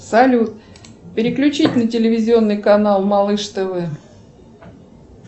салют переключить на телевизионный канал малыш тв